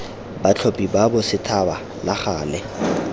batlhophi ba bosethaba la gale